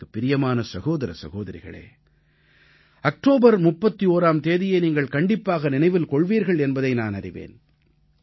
எனக்குப் பிரியமான சகோதர சகோதரிகளே அக்டோபர் 31ஆம் தேதியை நீங்கள் கண்டிப்பாக நினைவில் கொள்வீர்கள் என்பதை நான் அறிவேன்